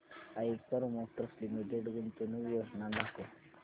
Eicher motors limited गुंतवणूक योजना दाखव